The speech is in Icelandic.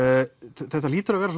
þetta hlýtur að vera